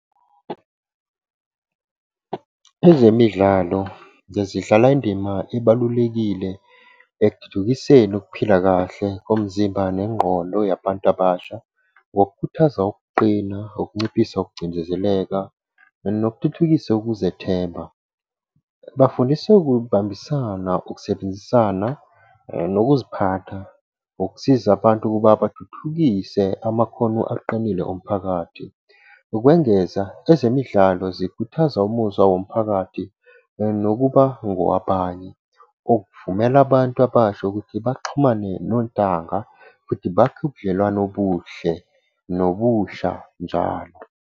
Ezemidlalo zezidlala indima ebalulekile ekuthuthukiseni ukuphila kahle komzimba nengqondo yabantu abasha, ngokukhuthaza ukuqina, ukunciphisa ukucindezeleka, nokuthuthukisa ukuzethemba. Bafundise ukubambisana, ukusebenzisana nokuziphatha ukusiza abantu ukuba bathuthukise amakhono aqinile omphakathi. Ukwengeza ezemidlalo zikhuthaza umuzwa womphakathi nokuba ngowabanye. Ukuvumela abantu abasha ukuthi baxhumane nontanga futhi bakhe ubudlelwane obuhle, nobusha njalo.